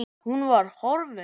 Hún var horfin.